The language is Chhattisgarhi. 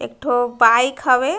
एक ठो बाइक हवे।